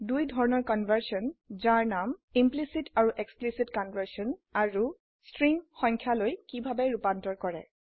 দুই ধৰনৰ কনভাৰ্সন যাৰ নাম ইমপ্লিসিট আৰু এক্সপ্লিসিট কনভাৰ্সন আৰু স্ট্ৰিখ সংখ্যায়লৈ কিভাবে ৰুপান্তৰ কৰে